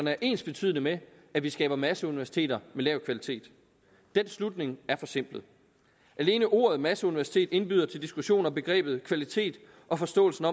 er ensbetydende med at vi skaber masseuniversiteter med lav kvalitet den slutning er forsimplet alene ordet masseuniversitet indbyder til diskussion om begrebet kvalitet og forståelsen